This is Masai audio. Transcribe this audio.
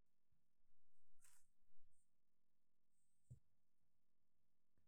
ingura peyie intumia e nkolong e solar peyie midany ake ntokitin naitumia ositima